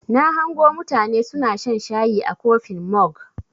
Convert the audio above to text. Na hango mutane suna shan shayi a kofin mog.